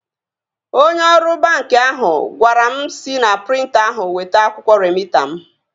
Onye ọrụ banki ahụ gwara m sị na prịnta ahụ weta akwụkwọ remịta m